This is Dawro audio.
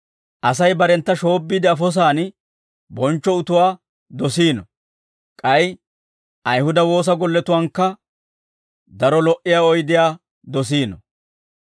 Asay barentta shoobbiide afosaan bonchcho utuwaa dosiino; k'ay Ayihuda woosa golletuwaankka daro lo"iyaa oydiyaa dosiino.